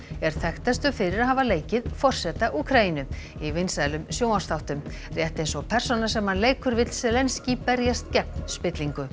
er þekktastur fyrir að hafa leikið forseta Úkraínu í vinsælum sjónvarpsþáttum rétt eins og persónan sem hann leikur vill berjast gegn spillingu